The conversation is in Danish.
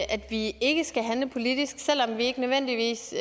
vi ikke skal handle politisk selv om vi ikke nødvendigvis